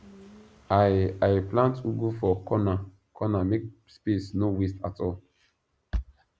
i i plant ugu for cornercorner make space no waste at all